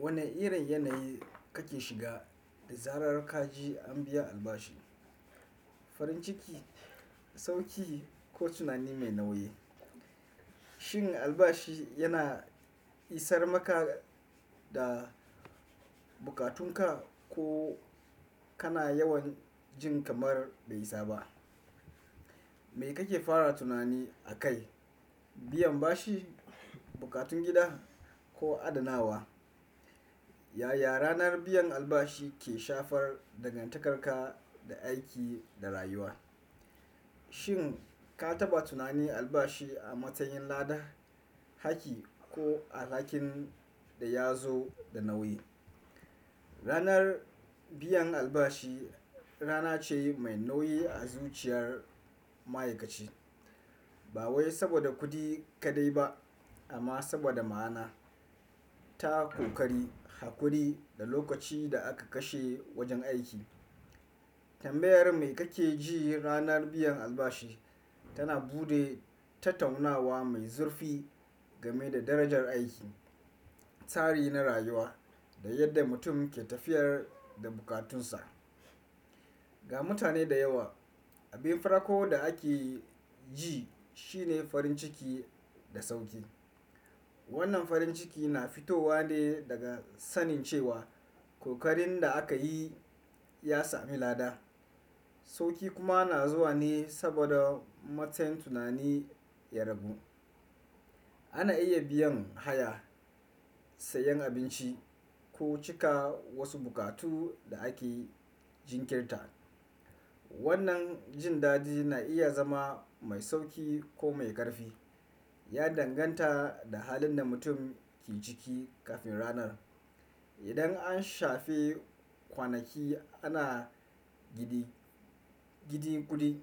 Wani irin yanayi kake shiga da zarar ka ji an biya albashi? Farin ciki, sauƙi ko tunani mai nauyi? Shin albashi yana isar maka da buƙatunka ko kana yawan jin kamar bai isa ba? Me kake fara tunani akai, biyan bashi, bukatun gida ko adanawa? Yaya ranar biyan albashi ke shafar dangantakarka da aiki da rayuwa? Shin ka taɓa tunani albashi a matsayin lada, haki ko alhakin da ya zo da nauyi? Ranar biyan albashi rana ce mai nauyi a zuciyar ma'aikaci. Ba wai saboda kuɗi kaɗai ba amma saboda ma'ana, ta ƙokari, hakuri da lokaci da aka kashe wajen aiki. Tambayar me kake ji ranar biyan albashi tana bude tattaunawa mai zurfi game da darajar aiki, tsari na rayuwa da yadda mutum ke tafiyar da bukatunsa. Ga mutane da yawa, abin farko da ake yi shi ne farin ciki da sauki. Wannan farin ciki na fitowa ne daga sanin cewa kokarin da aka yi ya sami lada. Sauki kuma na zuwa ne saboda matsayin tunani ya ragu. Ana iya biyan haya, sayan abinci ko cika wasu buƙatu da ake jinkirta. Wannan jin dadi na iya zama mai sauki ko mai ƙarfi, ya danganta da halin da mutum ke ciki kafin ranar. Idan an shafe kwanaki ana gidi gidi kudi,